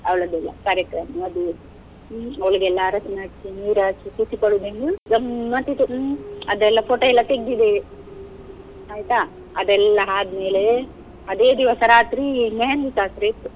ಅವಳ್ಳದ್ದೆಲ್ಲ ಕಾರ್ಯಕ್ರಮ ಮದುವೆ, ಹ್ಮ್ ಅವಳಿಗೆಲ್ಲ ಅರಶಿನ ಹಚ್ಚಿ ನೀರ್ ಹಾಕಿ ಗಮ್ಮತ್ ಇತ್ತು ಹ್ಮ್, ಅದೆಲ್ಲ photo ಎಲ್ಲ ತೆಗ್ದಿದ್ದೇವೆ, ಆಯ್ತಾ. ಅದೆಲ್ಲ ಆದ್ಮೇಲೆ ಅದೇ ದಿವಸ ರಾತ್ರಿ मेहंदी ಶಾಸ್ತ್ರ ಇತ್ತು.